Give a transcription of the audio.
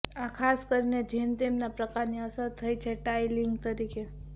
આ ખાસ કરીને જેમ કે તેમના પ્રકારની અસર થઈ છે ટાઇલિંગ તરીકે